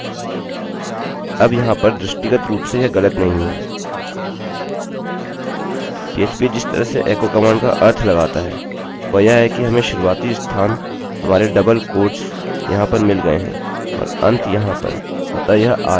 PHP जिस तरह से echoएको कमांड का अर्थ लगाता है वह यह है कि हमें शुरुआती स्थान हमारे डबलdouble उद्धरणचिन्हquotes यहाँ पर मिल गये हैं और अंत यहाँ पर अतः यह आरंभ होगा और यह अंत